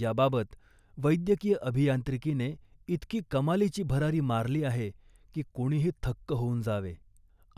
याबाबत, वैद्यकीय अभियांत्रिकीने इतकी कमालीची भरारी मारली आहे, की कोणीही थक्क होऊन जावे.